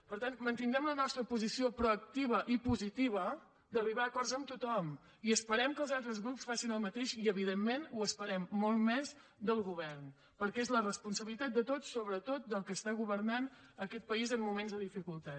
per tant mantindrem la nostra posició proactiva i positiva d’arribar a acords amb tothom i esperem que els altres grups facin el mateix i evidentment ho esperem molt més del govern perquè és la responsabilitat de tots sobretot del que està governant aquest país en moments de dificultat